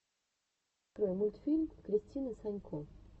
открой мультфильм кристины санько